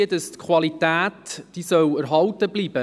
Die Qualität soll erhalten bleiben.